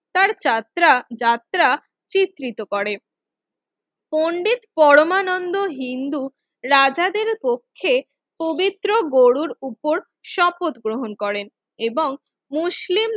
তার যাত্রা যাত্রা চিহ্নিত করে পণ্ডিত পরমানন্দ হিন্দু রাজাদের পক্ষে পবিত্র গরুর উপর শপথ গ্রহণ করেন এবং মুসলিমদের